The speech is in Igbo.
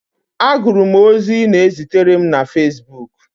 Agụrụ m ozi ị na-ezitere m na facebook